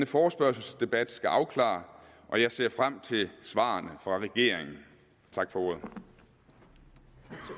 forespørgselsdebat skal afklare og jeg ser frem til svarene fra regeringen tak for